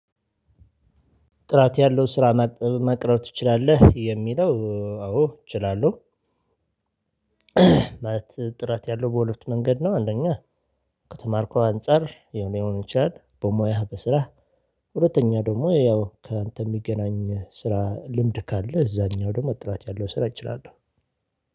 ጥራት ያለው ስራ መቅረብ ትችላለህ የሚለው አዎ እችላለሁ። ማለት ጥራት ያለው በሁለቱ መንገድ ነው። አንደኛ ከተማርኩት አንፃር ሊሆን ይሆናል በሙያህ በስራህ። ሁለተኛ ደግሞ ያው ካንተ የሚገናኝ ስራ ልምድ ካለ እዛኛው ደግሞ ጥራት ያለው ስራ እችላለሁ።